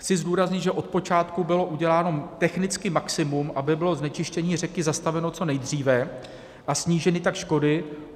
Chci zdůraznit, že od počátku bylo uděláno technicky maximum, aby bylo znečištění řeky zastaveno co nejdříve a sníženy tak škody.